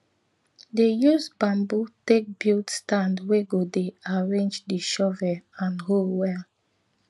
dey use bamboo take bulid stand wey go dey arrange di shovel and hoe well